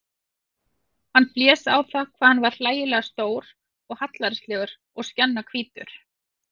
Hann blés á það hvað hann var hlægilega stór og hallærislegur og skjannahvítur.